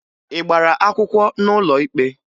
Ị gbara akwụkwọ n'ụlọ ikpe?